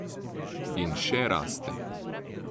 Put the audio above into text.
In še raste.